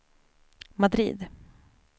Madrid